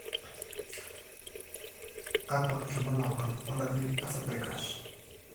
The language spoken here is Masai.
kakwa irbulabol o dalili e Freiberg's.